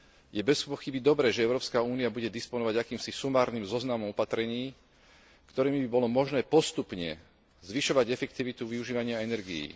Je bezpochyby dobré, že Európska únia bude disponovať akýmsi sumárnym zoznamom opatrení, ktorými by bolo možné postupne zvyšovať efektivitu využívania energií.